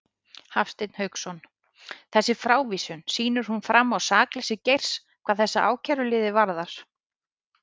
Hafstein Hauksson: Þessi frávísun, sýnir hún fram á sakleysi Geirs hvað þessa ákæruliði varðar?